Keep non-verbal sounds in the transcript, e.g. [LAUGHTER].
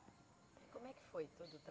Como é que foi todo o [UNINTELLIGIBLE]